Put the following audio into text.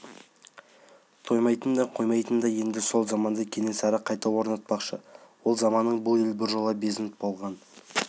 тоймайтын да қоймайтын да енді сол заманды кенесары қайта орнатпақшы ол заманнан бұл ел біржола безініп болған